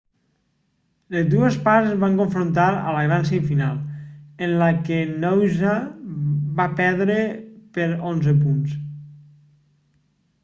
les dues parts es van confrontar a la gran semifinal en la que noosa va perdre per 11 punts